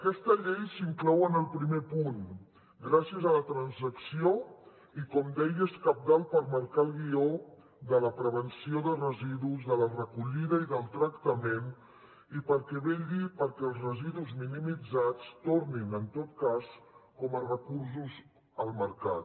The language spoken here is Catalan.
aquesta llei s’inclou en el primer punt gràcies a la transacció i com deia és cabdal per marcar el guió de la prevenció de residus de la recollida i del tractament i perquè vetlli perquè els residus minimitzats tornin en tot cas com a recursos al mercat